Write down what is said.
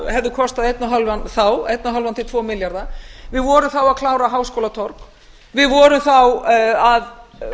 hefði kostað einn og hálfan þá einn og hálfan til tvo milljarða við vorum þá að klára háskólatorg við vorum þá að